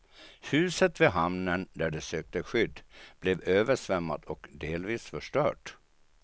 Huset vid hamnen där de sökte skydd blev översvämmat och delvis förstört.